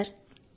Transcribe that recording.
అవును సర్